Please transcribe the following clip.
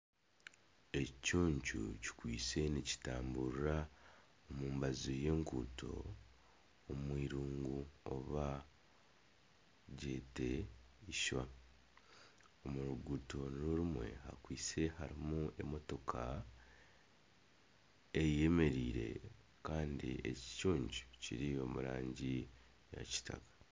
Ekicucu kiriyo nikitamburira omu mbaju y'enguuto omu irungu oba ryete ishwa, omu ruguuto nirwo rimwe harimu emotoka eyemereire kandi ekicucu kiri omu rangi ya kitaka